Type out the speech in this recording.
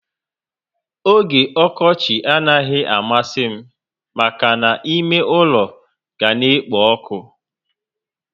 Ógè okochi anaghị amasi m maka ná ime ule ga na ekpo ọkụ